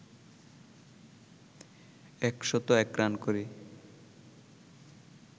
১০১ run করে